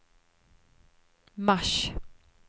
mars